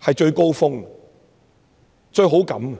是最高峰的，對中央是最有好感的。